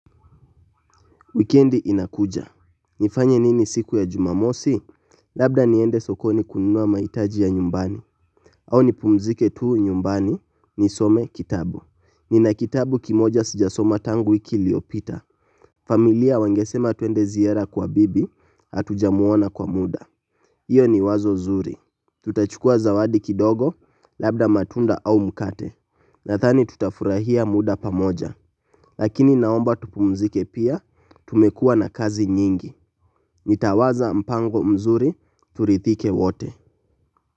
Wikendi inakuja. Nifanye nini siku ya jumamosi? Labda niende sokoni kununua mahitaji ya nyumbani. Au nipumzike tu nyumbani, nisome kitabu. Nina kitabu kimoja sijasoma tangu wiki iliopita. Familia wangesema twende ziara kwa bibi, hatujamuona kwa muda. Iyo ni wazo zuri. Tutachukua zawadi kidogo, labda matunda au mkate. Nadhani tutafurahia muda pamoja, lakini naomba tupumzike pia, tumekua na kazi nyingi, nitawaza mpango mzuri, turithike wote.